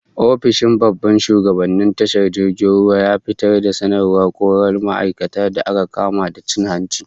Ofishin babban shugaban tashar jirgin ruwan ya fitar da sanarwar korar ma'aikatan da aka kama da cin hanci